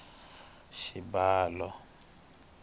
xibalo